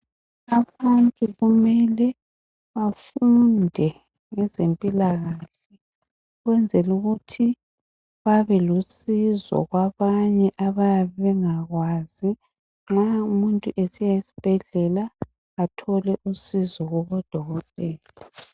Abantu kumele bafunde ngezempilakahle ukwenzela ukuthi babelusizo kwabanye abayabe bengakwazi ngomunye umuntu esiya esibhedlela athole usizo kubodokotela